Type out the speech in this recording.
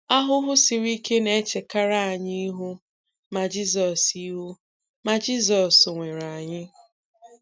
Ahụhụ siri ike na-echekarị anyị ihu, ma Jizọs ihu, ma Jizọs nwere anyị.